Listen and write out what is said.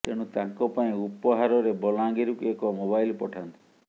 ତେଣୁ ତାଙ୍କ ପାଇଁ ଉପହାରରେ ବଲାଙ୍ଗୀରକୁ ଏକ ମୋବାଇଲ ପଠାନ୍ତୁ